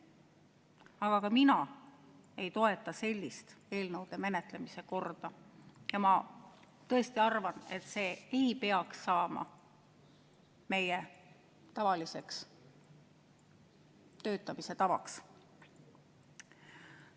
Aga ka mina ei toeta sellist eelnõude menetlemise korda ja ma tõesti arvan, et see ei peaks saama meie tavaliseks töötamise tavaks.